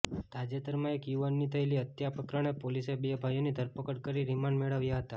તાજેતરમાં એક યુવાનની થયેલી હત્યા પ્રકરણે પોલીસે બે ભાઇઓની ધરપકડ કરી રિમાન્ડ મેળવ્યા હતા